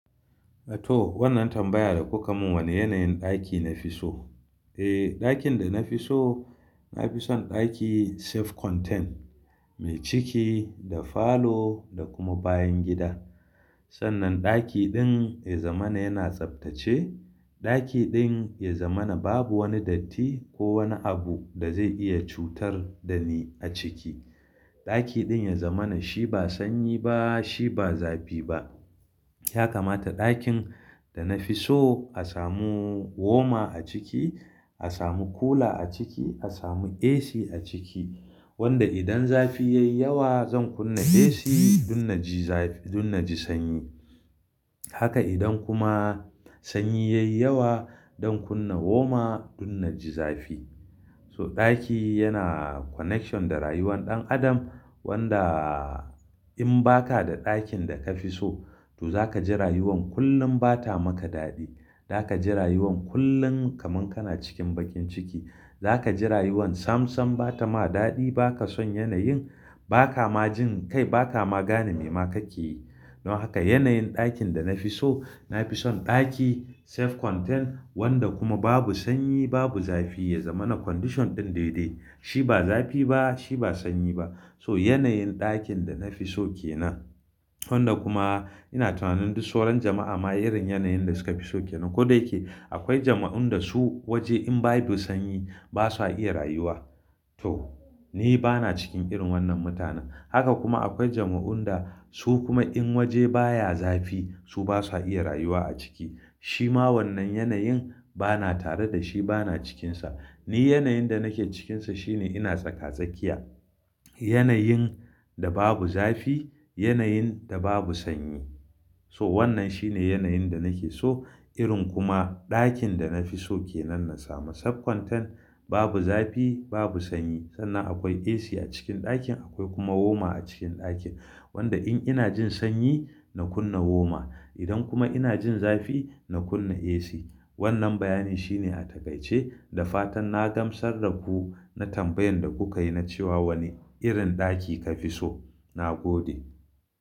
A to wannan tambaya da kuka mun wane yanayin ɗaki nafi so? Eh, ɗakin da nafi so, nafi son ɗaki self-contained mai ciki da falo da kuma bayan gida. Sannan ɗaki ɗin ya zama yana tsaftace, ɗaki ɗin ya zamana babu wani datti ko wani abu da zai iya cutar da ni a ciki. Ɗaki ɗin ya zama na shi ba sanyi ba, shi ba zafi ba. Ya kamata ɗakin da na fi so a samu warmer a ciki, a samu cooler a ciki, a samu AC a ciki wanda idan zafi yayi yawa zan kunna AC dun na ji zafi-- dun na ji sanyi. Haka idan kuma sanyi yayi yawa zan kunna warmer dun na ji zafi. So ɗaki yana connection da rayuwar ɗan adam wanda in baka da ɗakin da ka fi so to zaka ji rayuwan kullum bata maka daɗi. Zaka ji rayuwan kullum kaman kana cikin bakin ciki. Zaka ji rayuwan samsam bata ma daɗi, baka son yanayin, baka ma jin kai, baka ma gane me ma kake yi. Don haka yanayin ɗakin da na fi so, nafi son ɗaki self-contained wanda kuma babu sanyi babu zafi ya zama na condition ɗin dai dai. Shi ba zafi ba shi ba sanyi ba. So yanayin ɗakin da na fi so ke nan. Wanda kuma ina tunanin duk sauran jama'a ma irin yanayin da suka fi so ke nan. Ko da yake akwai jama'un da su waje in babu sanyi basu iya rayuwa. To, ni bana cikin irin wannan mutane. Haka kuma akwai jama'un da su kuma in waje baya zafi su basu iya rayuwa a ciki. Shi ma wannan yanayin bana tare da shi bana cikinsa. Ni yanayin da nake cikinsa shine ina tsaka-tsakiya. Yanayin da babu zafi, yanayin da babu sanyi. So wannan shine yanayin da nake so. Irin kuma ɗakin da na fi so ke nan na samu self-contained babu zafi babu sanyi. Sannan akwai AC a cikin ɗakin akwai kuma warmer a cikin ɗakin. Wanda in ina jin sanyi na kunna warmer. Idan kuma ina jin zafi na kunna AC. Wannan bayani shine a takaice da fatan na gamsar daku na tambayan da kuka yi na cewa wane irin ɗaki ka fi so. Na gode.